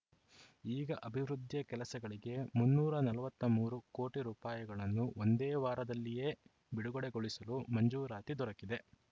ಈಗ ಅಭಿವೃದ್ಧಿಯ ಕೆಲಸಗಳಿಗೆ ಮುನ್ನೂರ ನಲವತ್ತ್ ಮೂರು ಕೋಟಿ ರೂಪಾಯಿಗಳನ್ನು ಒಂದೇ ವಾರದಲ್ಲಿಯೇ ಬಿಡುಗಡೆಗೊಳಿಸಲು ಮಂಜೂರಾತಿ ದೊರಕಿದೆ